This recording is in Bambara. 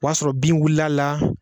O y'a sɔrɔ bin wulila la.